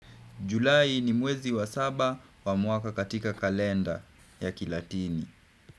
Julai ni mwezi wa saba wa mwaka katika kalenda ya Kilatini.